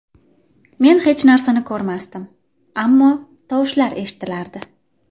Men hech narsani ko‘rmasdim, ammo tovushlar eshitilardi.